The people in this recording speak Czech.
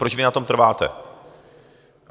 Proč vy na tom trváte?